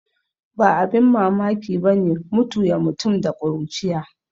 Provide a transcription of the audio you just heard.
Ba abin mamaki bane mutu ya mutum da kuruciya